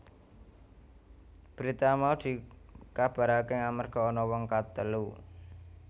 Berita mau dikabaraké amarga ana wong katelu